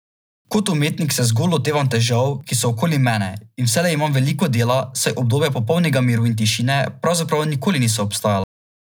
Kot umetnik se zgolj lotevam težav, ki so okoli mene, in vselej imam veliko dela, saj obdobja popolnega miru in tišine pravzaprav nikoli niso obstajala.